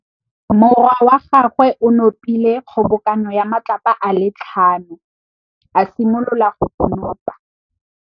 Morwa wa gagwe o nopile kgobokanô ya matlapa a le tlhano, a simolola go konopa.